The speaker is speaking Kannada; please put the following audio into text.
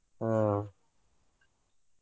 ಹ್ಮ.